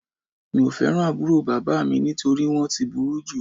Mi ò fẹ́ràn àbúrò bàbá mi nítorí wọ́n ti burú jù